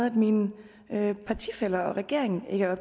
at mine partifæller og regeringen ikke er